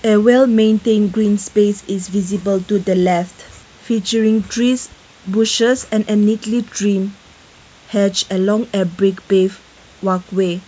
a well maintained green space is visible to the left featuring trees bushes and neatly cleaned has along a big walkway.